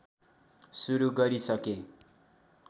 सुरु गरिसकेँ